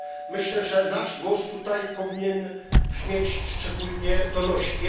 Myślę, że nasz głos tutaj powinien brzmieć szczególnie donośnie.